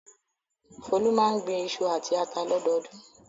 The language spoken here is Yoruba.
Folú máa ń gbin iṣu àti ata lọ́dọọdún.